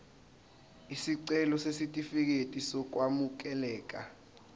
isicelo sesitifikedi sokwamukeleka